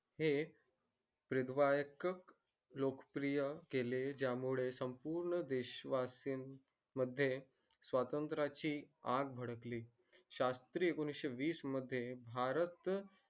हे लोक प्रिय केले ज्या मुले संपूर्ण देशवासीन मध्ये स्वतंत्र ची आग भडकली शास्त्री एकोणीशे वीस मध्ये भारत